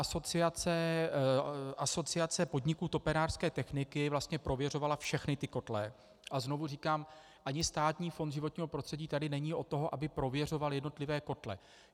Asociace podniků topenářské techniky vlastně prověřovala všechny ty kotle, a znovu říkám, ani Státní fond životního prostředí tady není od toho, aby prověřoval jednotlivé kotle.